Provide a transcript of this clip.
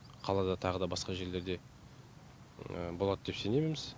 қалада тағы да басқа жерлерде болады деп сененеміз